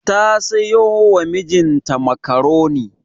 Ta sayo wa mijinta makaroni.